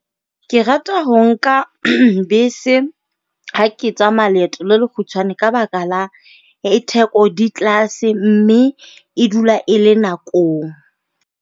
Ke rata ho nka bese ha ke tsamaya leeto le le kgutshwane ka baka la e theko di tlase mme e dula e le nakong.